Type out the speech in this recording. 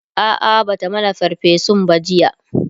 a'a Bata mana ferfesun ba jiya